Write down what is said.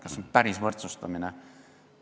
Kas see on päris võrdsustamine?